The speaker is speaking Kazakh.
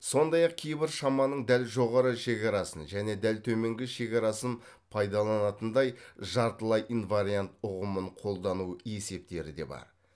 сондай ақ кейбір шаманың дәл жоғары шекарасын және дәл төменгі шекарасын пайдаланатындай жартылай инвариант ұғымын қолдану есептері де бар